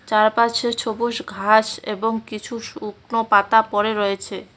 চারপাশে সবুজ ঘাস এবং কিছু শুকনো পাতা পড়ে রয়েছে।